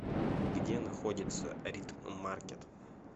где находится ритм маркет